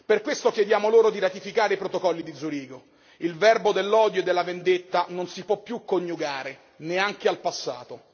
Per questo chiediamo loro di ratificare i protocolli di Zurigo, il verbo dell'odio e della vendetta non si può più coniugare, neanche al passato.